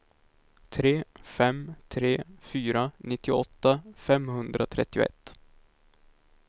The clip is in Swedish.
tre fem tre fyra nittioåtta femhundratrettioett